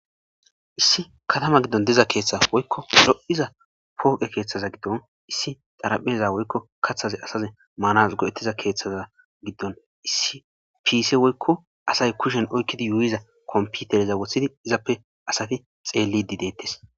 issi katama giddon diza keeththa woykko ro7iza pooqe keeththaza giddon issi darapheza woykko kaththaze asaze maanas go7ettiza keeththaza giddon issi piise woykko asay kushen oykkidi yuuyiza komputereza wothidi izappe asati xeellidi deettes